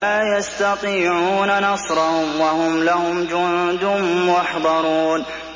لَا يَسْتَطِيعُونَ نَصْرَهُمْ وَهُمْ لَهُمْ جُندٌ مُّحْضَرُونَ